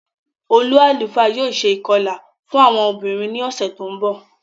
Ólu àlufá yóò ṣe ikọla fun awọn obinrin ni ọsẹ ti nbọ.